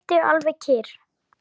Sittu alveg kyrr.